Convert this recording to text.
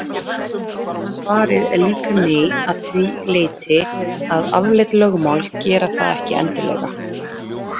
En svarið er líka nei að því leyti að afleidd lögmál gera það ekki endilega.